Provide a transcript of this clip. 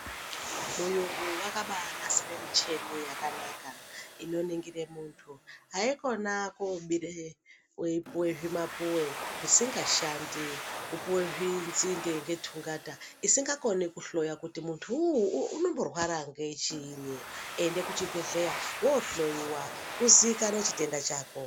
Muyungu vakabanasire micheni yakanaka inoningire muntu haikona kobire veipuve zvimapuve zvisingashandi. Kupuve zvinzinde ngetungata isingakoni kuhloya kuti muntu uyu unomborwara ngechiinyi. Enda kuzvibhedhleya vohloiwa uzikanwe chitenda chako.